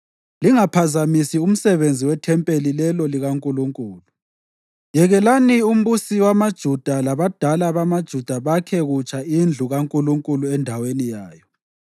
Lingaphazamisi umsebenzi wethempeli lelo likaNkulunkulu. Yekelani umbusi wamaJuda labadala bamaJuda bakhe kutsha indlu kaNkulunkulu endaweni yayo.